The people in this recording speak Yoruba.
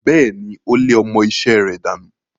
Bẹ́ẹ̀ni, ó lé ọmọ-isẹ́ rẹ̀ dànù.